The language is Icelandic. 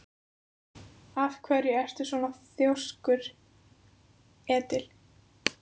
Af hverju ertu svona þrjóskur, Edil?